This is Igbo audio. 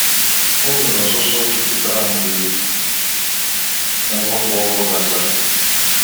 O nwere ọsụsọ jupụtara mgbe nrọ kpụ ọkụ gasịrị.